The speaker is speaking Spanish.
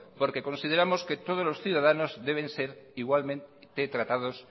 porque consideramos que todos los ciudadanos deben de ser igualmente tratados